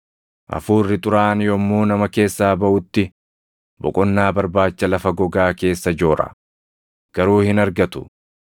“Hafuurri xuraaʼaan yommuu nama keessaa baʼutti, boqonnaa barbaacha lafa gogaa keessa joora; garuu hin argatu.